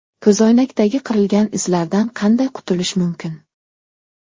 Ko‘zoynakdagi qirilgan izlardan qanday qutulish mumkin?.